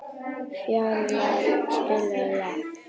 Fjalarr, spilaðu lag.